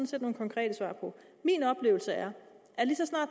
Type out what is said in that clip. set nogle konkrete svar på min oplevelse er